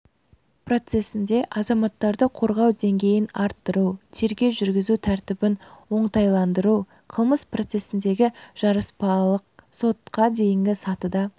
процесінде азаматтарды қорғау деңгейін арттыру тергеу жүргізу тәртібін оңтайландыру қылмыс процесіндегі жарыспалылық сотқа дейінгі сатыда